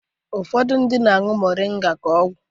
Ụfọdụ ndị mmadụ na-añụ Moringa ka ọgwụ.